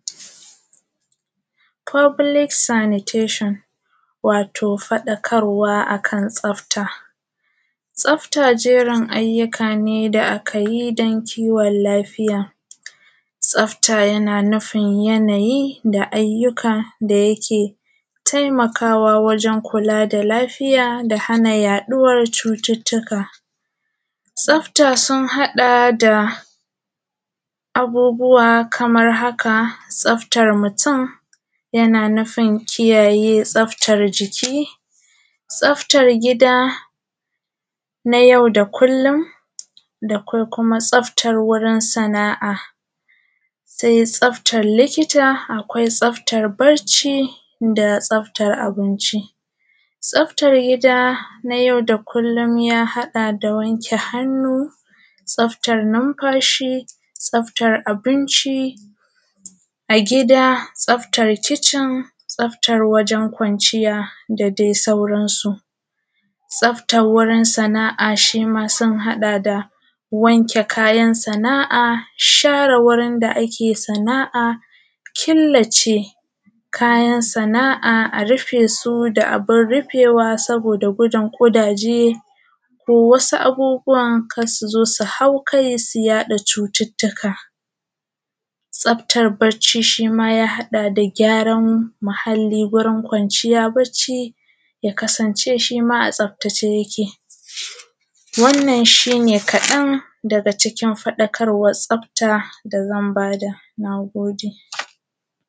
Foblik sanitashin wato faɗakarwa akan tsafta. Tsafta garin ayyuka ne da’akayi dan kiwon lafiya, tasfta yana nufin yanayi da ayyuka da yake taimakawa waren kula da lafiya da hana yaɗuwar cututtuka. Tsafta sun haɗa da abubuwa Kaman haka, tsafta mutum yana nufun kiyaye tsaftar jiki, tsaftar gida na yau da kullum da kuma tsaftae wurin sana’a, akwai tsaftar likita, akwai tsaftar bacci da tsaftar abinci. Tsaftar gida na yau da kullum ya haɗa da wanke hannu, tsaftar numfashi, tsaftar abinci, a gida tsaftar kicin, tsaftar wurin kwanciya da dai sauran su. Tsaftar wurin sana’a shima sun haɗa da wanke kayan sana’a, share wurin da ake sana’a, killace kayan sana’a a rufesu da abun rufewa saboda gudun ƙudaje ko wasu abubuwan karsuzo su haukai su yaɗa cututtuka. Tsaftar bacci shima ya haɗa da gyaran muhalli gurin kwanciya baccci ta kasance shima a tsaftace yake wannan shine kaɗan daga cikin faɗakarwan tsafta dazan bada. Nagode